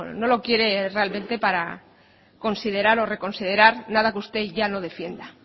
no lo quiere realmente para considerar o reconsiderar nada que usted ya no defienda